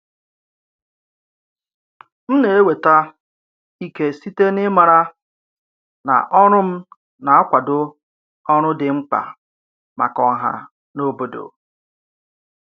M na-enweta ike site n’ịmara na ọrụ m na-akwado ọrụ dị mkpa maka ọha na obodo.